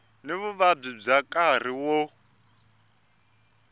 ni vuvabyi bya nkarhi wo